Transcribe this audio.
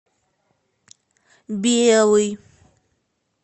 белый